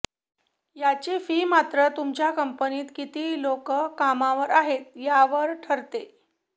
याची फी मात्र तुमच्या कंपनीत किती लोक कामावर आहेत यावर ठरते